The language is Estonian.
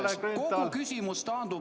Aitäh, Kalle Grünthal!